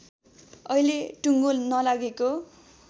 अहिले टुङ्गो नलागेको